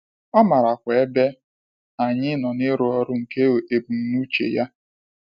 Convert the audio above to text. Ọ maarakwa ebe anyị nọ n’ịrụ ọrụ nke ebumnuche ya.